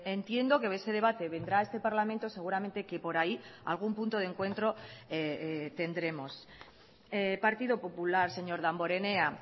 entiendo que ese debate vendrá a este parlamento seguramente que por ahí algún punto de encuentro tendremos partido popular señor damborenea